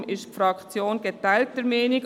Deshalb ist die Fraktion geteilter Meinung.